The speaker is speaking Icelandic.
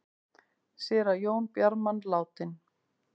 Séra Jón Bjarman látinn